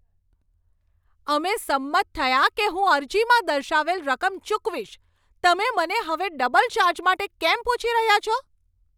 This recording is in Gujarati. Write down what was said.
અમે સંમત થયા કે હું અરજીમાં દર્શાવેલ રકમ ચૂકવીશ. તમે મને હવે ડબલ ચાર્જ માટે કેમ પૂછી રહ્યા છો?